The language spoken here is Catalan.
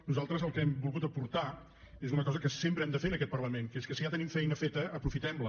nosaltres el que hem volgut aportar és una cosa que sempre hem de fer en aquest parlament que és que si ja tenim feina feta aprofitem la